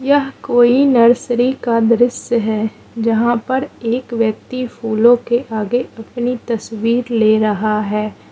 यह कोई नर्सरी का दृश्य है जहां पर एक व्यक्ति फूलों के आगे अपनी तस्वीर ले रहा है।